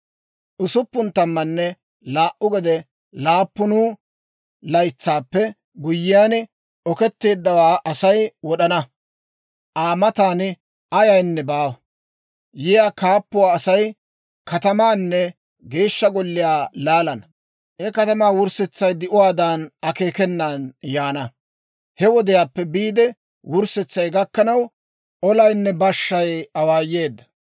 «Usuppun tammanne laa"u gede laappun laytsaappe guyyiyaan, Okeetteeddawaa Asay wod'ana. Aa matan ayaynne baawa. Yiyaa kaappuwaa asay, katamaanne Geeshsha Golliyaa laalana. He katamaa wurssetsay di'uwaadan akeekenan yaana. He wodiyaappe biide wurssetsay gakkanaw, olaanne bashshaa awaayeedda.